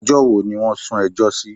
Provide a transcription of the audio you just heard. Ọjọ́ wo ni wọ́n sún ẹjọ́ sí?